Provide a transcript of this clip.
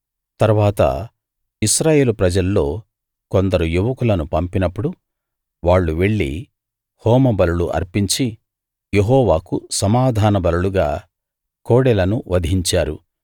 తరవాత ఇశ్రాయేలు ప్రజల్లో కొందరు యువకులను పంపినప్పుడు వాళ్ళు వెళ్లి హోమ బలులు అర్పించి యెహోవాకు సమాధానబలులగా కోడెలను వధించారు